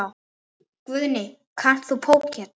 Guðný: Kannt þú póker?